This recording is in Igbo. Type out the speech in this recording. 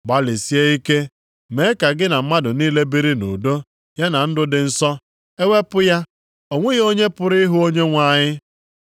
Gbalịsie ike mee ka gị na mmadụ niile biri nʼudo ya na ndụ dị nsọ, e wepụ ya, o nweghị onye pụrụ ịhụ Onyenwe anyị.